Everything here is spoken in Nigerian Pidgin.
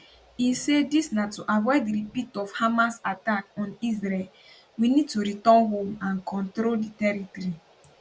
im say dis na to avoid repeat of hamas attack on israel we need to return home and control di territory